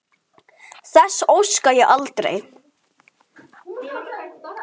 Þess óska ég aldrei.